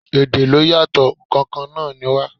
Èdè ló yàtò, ǹ kan kan náà ni wá.